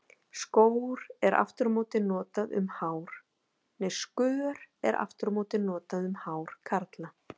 Skör er aftur á móti notað um hár karla.